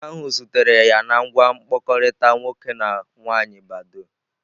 Nwoke ahụ zutere ya na ngwa mkpakọrịta nwoke na nwaanyị badoo.